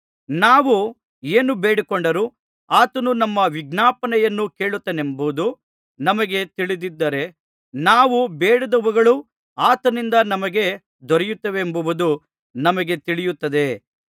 ನಾವು ಏನು ಬೇಡಿಕೊಂಡರೂ ಆತನು ನಮ್ಮ ವಿಜ್ಞಾಪನೆಯನ್ನು ಕೇಳುತ್ತಾನೆಂಬುದು ನಮಗೆ ತಿಳಿದಿದ್ದರೆ ನಾವು ಬೇಡಿದವುಗಳು ಆತನಿಂದ ನಮಗೆ ದೊರೆಯುತ್ತವೆಂಬುದು ನಮಗೆ ತಿಳಿಯುತ್ತದೆ